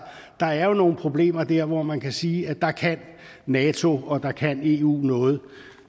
der er jo nogle problemer der hvor man kan sige at der kan nato og der kan eu noget